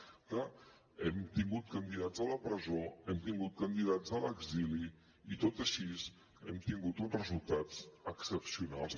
és clar hem tingut candidats a la presó hem tingut candidats a l’exili i tot i així hem tingut uns resultats excepcionals